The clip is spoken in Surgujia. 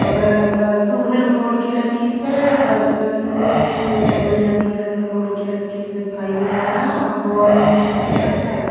कपड़ा लता सुघर मोड़ के रखीस हे बर्तन भी तो बढ़िया दिखत हे मोड़ के रखी से फाइबर वाला आ बॉल वाल भी दिखत हे।